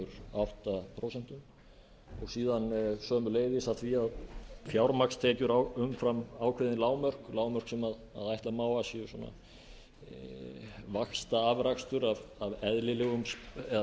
átta prósent og síðan sömuleiðis af því að fjármagnstekjur umfram ákveðin lágmörk lágmörk sem ætla má að séu vaxtaafrakstur af